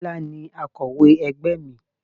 Tọ́lá ni akọ̀wé ẹgbẹ́ mi.